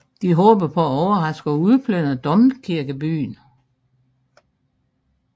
De håbede på at overraske og udplyndre domkirkebyen